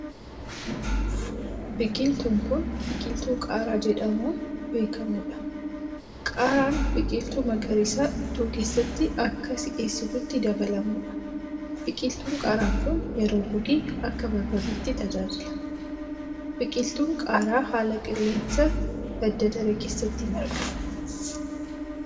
Biqiltuun kun, biqiltuu qaaraa jedhamuun beekamuu dha. Qaaraan biqiltuu magariisa ittoo keessatti akka si'eessituutti dabalamuu dha. Biqiltuun qaara kun, yeroo gogee akka barbarreetti tajaajila. Biqiltuun qaaraa haala qilleensaa badda daree keessatti marga.